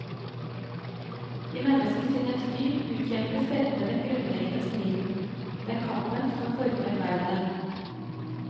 I menneskesinnets dyp utkjempes selve den grunnleggende striden, den kampen som former verden.